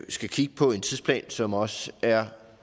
skal kigge på en tidsplan som også er